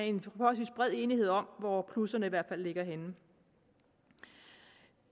en forholdsvis bred enighed om hvor plusserne ligger henne